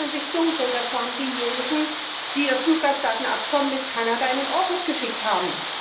Sie erinnern sich dunkel Das waren diejenigen, die das Fluggastdatenabkommen mit Kanada in den Orkus geschickt haben.